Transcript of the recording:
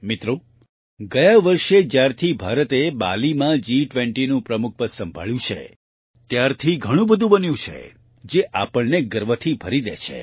મિત્રો ગયા વર્ષે જ્યારથી ભારતે બાલીમાં G20નું પ્રમુખપદ સંભાળ્યું છે ત્યારથી ઘણું બધું બન્યું છે જે આપણને ગર્વથી ભરી દે છે